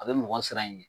A bɛ mɔgɔ siran in ɲɛ